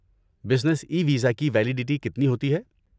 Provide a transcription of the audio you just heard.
Business e visa کی validity کتنی ہوتی ہے؟